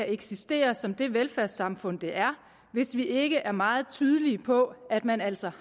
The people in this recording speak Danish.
eksistere som det velfærdssamfund det er hvis vi ikke er meget tydelige på at man altså